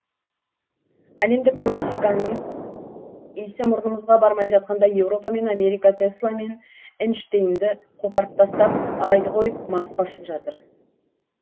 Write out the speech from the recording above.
әлемдік классиканың исі мұрнымызға бармай жатқанда еуропа мен америка тесла мен эйнштейнді қопарып тастап айды қойып марсқа ұшып жатыр